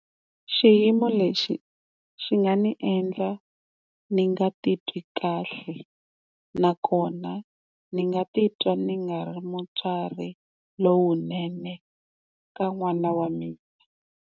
Xiyimo lexi xi nga ni endla ni nga titwi kahle nakona ni nga titwa ni nga ri mutswari lowunene ka n'wana wa mina.